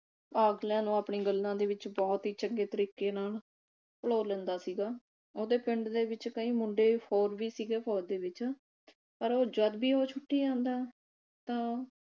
ਅਗਲਿਆ ਨੂੰ ਆਪਣੀ ਗੱਲਾਂ ਦੇ ਵਿਚ ਬਹੁਤ ਹੀ ਚੰਗੇ ਤਰੀਕੇ ਨਾਲ ਪਲੋਲ ਲੈਂਦਾ ਸੀਗਾ। ਉਹਦੇ ਪਿੰਡ ਦੇ ਵਿਚ ਕਈ ਮੁੰਡੇ ਹੋਰ ਵੀ ਸੀ ਗੇ ਫੌਜ ਦੇ ਵਿਚ ਪਰ ਉਹ ਜਦ ਵੀ ਉਹ ਛੁੱਟੀ ਆਂਦਾ ਤਾਂ